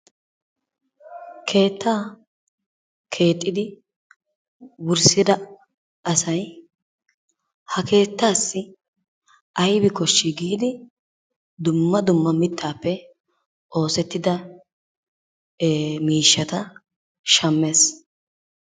Kettaa kexiddi wurssidaa asay ha kettaasi aybi koshi giddi dumma dumma mittaappe ossettida mishattaa shamees.